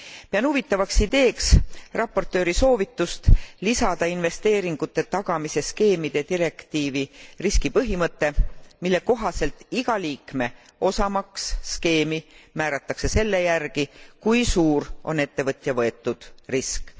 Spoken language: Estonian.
Pean huvitavaks ideeks raportööri soovitust lisada investeeringute tagamise skeemide direktiivi riski põhimõte, mille kohaselt iga liikme osamaks skeemi määratakse selle järgi, kui suur on ettevõtja võetud risk.